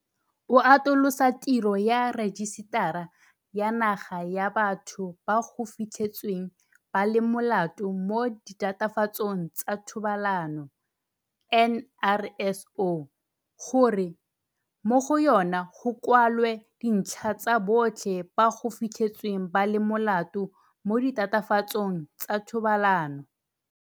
O atolosa tiro ya Rejisetara ya Naga ya Batho ba go Fitlhetsweng ba le Molato mo Ditatofatsong tsa Thobalano, NRSO, gore mo go yona go kwalwe dintlha tsa botlhe ba go fitlhetsweng ba le molato mo ditatofatsong tsa thobalano.